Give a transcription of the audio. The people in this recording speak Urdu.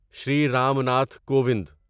شری رام ناتھ کووند